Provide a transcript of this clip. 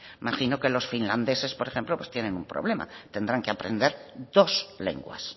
imagino que los finlandeses por ejemplo pues tienen un problema tendrán que aprender dos lenguas